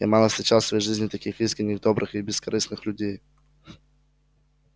я мало встречал в своей жизни таких искренних добрых и бескорыстных людей